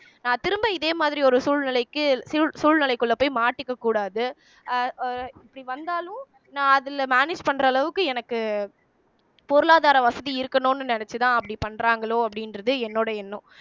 அஹ் திரும்ப இதே மாதிரி ஒரு சூழ்நிலைக்கு சூழ் சூழ்நிலைக்குள்ள போய் மாட்டிக்கக் கூடாது அஹ் அஹ் இப்படி வந்தாலும் நான் அதில manage பண்ற அளவுக்கு எனக்கு பொருளாதார வசதி இருக்கணுன்னு நினைச்சுதான் அப்படி பண்றாங்களோ அப்படின்றது என்னோட எண்ணம்